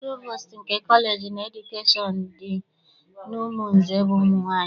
Provostu nke kọleji nke edukeshọn dị n'Umunze bụ nwaanyị.